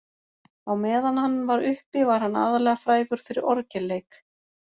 Á meðan hann var uppi var hann aðallega frægur fyrir orgelleik.